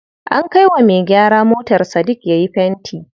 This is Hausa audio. An kai wa me gyara motar Sadik yayi fenti.